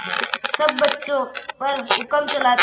सब बच्चों पर हुक्म चलाते